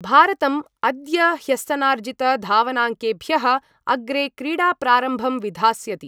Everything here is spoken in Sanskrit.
भारतम् अद्य ह्यस्तनार्जितधावनाङ्केभ्यः अग्रे क्रीडाप्रारम्भं विधास्यति।